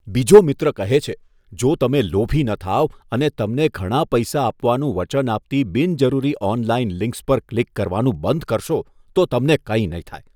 બીજો મિત્ર કહે છે, જો તમે લોભી ન થાઓ અને તમને ઘણા પૈસા આપવાનું વચન આપતી બિનજરૂરી ઓનલાઇન લિંક્સ પર ક્લિક કરવાનું બંધ કરશો તો તમને કાંઈ નહીં થાય.